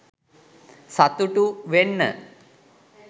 සතුටු වෙන්න